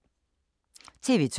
TV 2